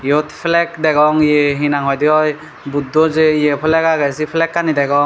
iyot flag degong ye hinang hoidey oi buddo jei ye flag agey sei flagganj degong.